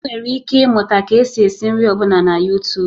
Ị nwere ike ịmụta ka esi esị nri ọ bụla na yutub